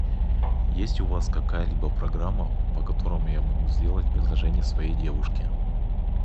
есть у вас какая либо программа по которой я могу сделать предложение своей девушке